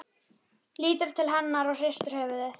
Söguleg urðu bara tvö lítil atvik.